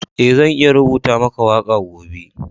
Eh, zan iya rubutar maka waka gobe.